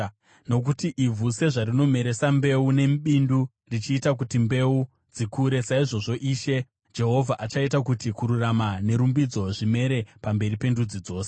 Nokuti ivhu sezvarinomeresa mbeu, nebindu richiita kuti mbeu dzikure, saizvozvo Ishe Jehovha achaita kuti kururama nerumbidzo zvimere pamberi pendudzi dzose.